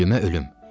Ölümə ölüm.